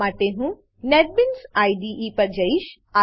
આ માટે હું નેટબીન્સ આઇડીઇ પર જઈશ